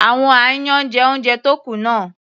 Àwọn aáyán jẹ oúnjẹ tó kù náà.